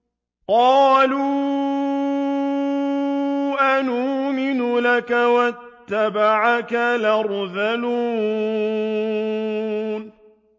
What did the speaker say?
۞ قَالُوا أَنُؤْمِنُ لَكَ وَاتَّبَعَكَ الْأَرْذَلُونَ